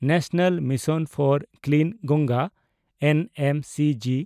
national mission for clean Ganga (N M C G)